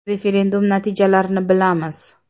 Referendum natijalarini bilamiz.